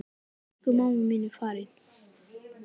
Elsku mamma mín er farin.